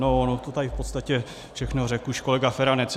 On to tady v podstatě všechno řekl už kolega Feranec.